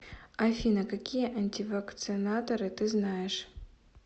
афина какие антивакцинаторы ты знаешь